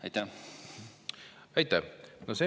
Aitäh!